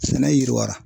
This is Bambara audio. Sɛnɛ yiriwa